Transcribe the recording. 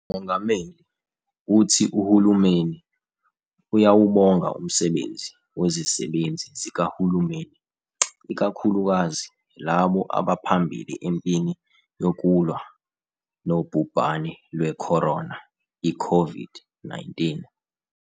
UMongameli uthi uhulumeni uyawubonga umsebenzi wezisebenzi zikahulumeni, ikakhulukazi labo abaphambili empini yokulwa nobhubhane lwe-corona, i-COVID-19.